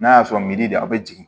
N'a y'a sɔrɔ milidi a bɛ jigin